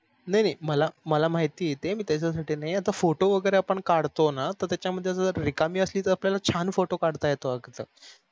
नाही नाही मला मला माहिती आहे ते मी त्याच्यासठी नाही आता photo वगेरे आपण काढतो न तर त्याच्यामध्ये जर रिकामी असली त आपल्याल्यला छान photo काढता येतो